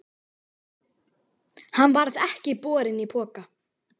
Hann varð ekki borinn í poka.